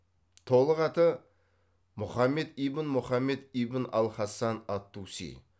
толық аты мұхаммед ибн мұхаммед ибн ал хасан ат туси